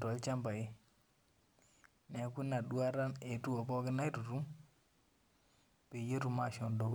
tolchambai neeku ina duata eetuo atururur peyie etum ashom dukuya